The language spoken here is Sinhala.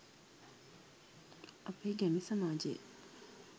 අපේ ගැමි සමාජය